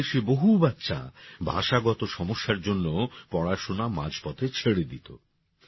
আমাদের দেশে বহু বাচ্চা ভাষাগত সমস্যার জন্য পড়াশোনা মাঝপথে ছেড়ে দিত